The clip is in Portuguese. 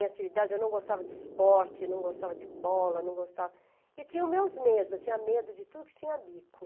Em atividade, eu não gostava de esporte, não gostava de bola, não gostava... E tinham meus medos, eu tinha medo de tudo que tinha bico.